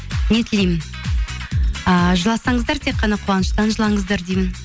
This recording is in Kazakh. не тілеймін ыыы жыласаңыздар тек қана қуаныштан жылаңыздар деймін